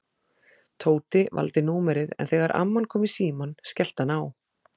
Tóti valdi númerið en þegar amman kom í símann skellti hann á.